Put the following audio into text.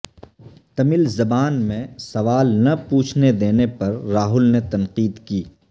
تمل زبان میں سوال نہ پوچھنے دینے پر راہل نے تنقید کی